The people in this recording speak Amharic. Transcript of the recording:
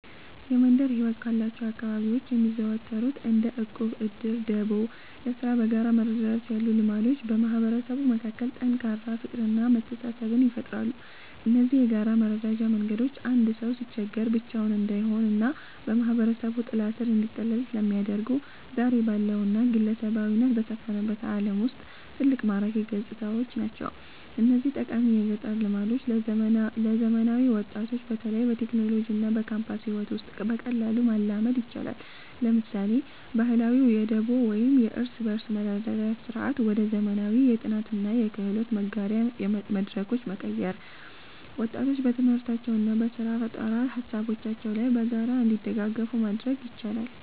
የመንደር ሕይወት ካሏቸው አካባቢዎች የሚዘወተሩት እንደ ዕድር፣ ዕቁብና ደቦ (ለሥራ በጋራ መረዳዳት) ያሉ ልማዶች በማህበረሰቡ መካከል ጠንካራ ፍቅርና መተሳሰብን ይፈጥራሉ። እነዚህ የጋራ መረዳጃ መንገዶች አንድ ሰው ሲቸገር ብቻውን እንዳይሆንና በማህበረሰቡ ጥላ ሥር እንዲጠለል ስለሚያደርጉ፣ ዛሬ ባለውና ግለሰባዊነት በሰፈነበት ዓለም ውስጥ ትልቅ ማራኪ ገጽታዎች ናቸው። እነዚህን ጠቃሚ የገጠር ልማዶች ለዘመናዊ ወጣቶች በተለይም በቴክኖሎጂና በካምፓስ ሕይወት ውስጥ በቀላሉ ማላመድ ይቻላል። ለምሳሌ፣ ባህላዊውን የደቦ ወይም የእርስ በርስ መረዳዳት ሥርዓት ወደ ዘመናዊ የጥናትና የክህሎት መጋሪያ መድረኮች በመቀየር፣ ወጣቶች በትምህርታቸውና በሥራ ፈጠራ ሃሳቦቻቸው ላይ በጋራ እንዲደጋገፉ ማድረግ ይቻላል።